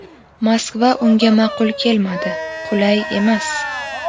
Moskva unga ma’qul kelmadi: qulay emas.